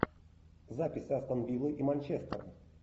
запись астон виллы и манчестер